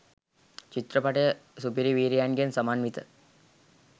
චිත්‍රපටය සුපිරිවීරයන්ගෙන් සමන්විත